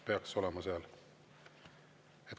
Peaks olema seal.